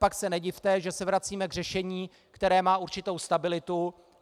Pak se nedivte, že se vracíme k řešení, které má určitou stabilitu.